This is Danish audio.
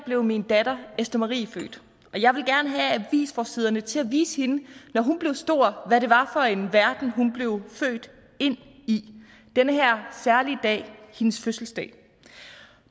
blev min datter esther marie født og jeg ville gerne have avisforsiderne til at vise hende når hun blev stor hvad det var for en verden hun blev født ind i den her særlige dag hendes fødselsdag